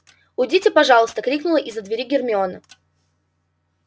уйдите пожалуйста крикнула из-за двери гермиона